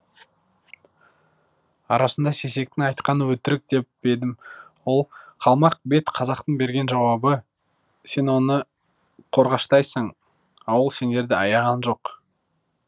арасында сейсектің айтқаны өтірік деп едім ол қалмақ бет қазақтың берген жауабы сен оны қорғаштайсың ал ол сендерді аяған жоқ